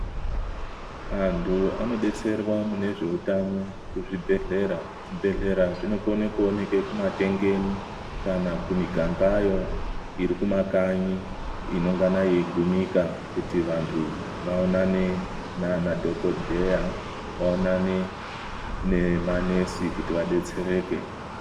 Antu anodetserwa mune zveutano kuzvibhehlera. Zvibhehlera zvinokone kuoneke kumatengeni kana kumigangayo iri kumakanyi inongana yeigumika kuti vantu vaonane nanadhokodheya, vaonane nemanesi kuti vadetsereke.